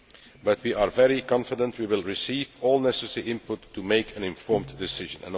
However, we are very confident we will receive all the necessary input to make an informed decision.